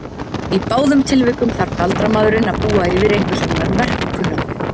Í báðum tilvikum þarf galdramaðurinn að búa yfir einhverskonar verkkunnáttu.